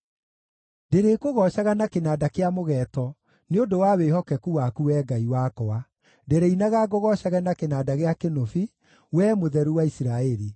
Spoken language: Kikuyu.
Ndĩrĩkũgoocaga na kĩnanda kĩa mũgeeto nĩ ũndũ wa wĩhokeku waku, Wee Ngai wakwa; ndĩrĩinaga ngũgoocage na kĩnanda gĩa kĩnũbi, Wee Mũtheru wa Isiraeli.